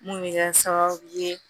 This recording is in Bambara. Mun bɛ kɛ sababu ye